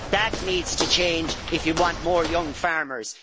That needs to change if you want more young farmers.